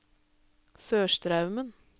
Sørstraumen